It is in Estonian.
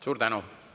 Suur tänu!